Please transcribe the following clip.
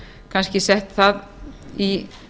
kannski sett það í